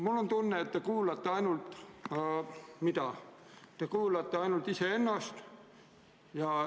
Mul on tunne, et te kuulate ainult iseennast.